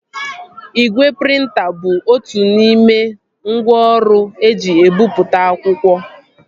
Igwe prịnta bụ otu n'ime ngwá ọrụ eji ebipụta akwụkwọ